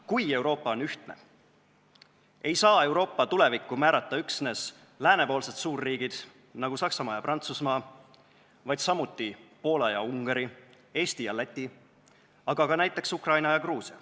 Kui Euroopa on ühtne, ei saa Euroopa tulevikku määrata üksnes läänepoolsed suurriigid, nagu Saksamaa ja Prantsusmaa, vaid samuti Poola ja Ungari, Eesti ja Läti, aga ka näiteks Ukraina ja Gruusia.